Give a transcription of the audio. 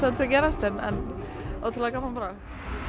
að gerast en ótrúlega gaman bara